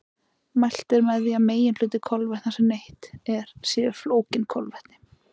Mælt er með því að meginhluti kolvetna sem neytt er séu flókin kolvetni.